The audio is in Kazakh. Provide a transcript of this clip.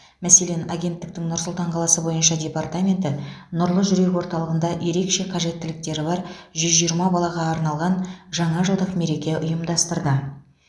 мәселен агенттіктің нұр сұлтан қаласы бойынша департаменті нұрлы жүрек орталығында ерекше қажеттіліктері бар жүз жиырма балаға арналған жаңа жылдық мереке ұйымдастырды